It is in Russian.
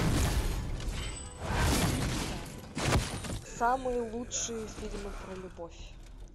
так самые лучшие фильмы про любовь